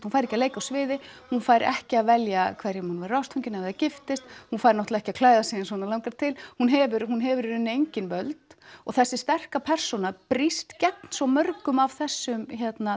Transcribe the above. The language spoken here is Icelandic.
hún fær ekki að leika á sviði hún fær ekki að velja hverjum hún verður ástfangin af eða giftist hún fær náttúrulega ekki að klæða sig eins og hana langar til hún hefur hún hefur í raun engin völd og þessi sterka persóna brýst gegn svo mörgum af þessum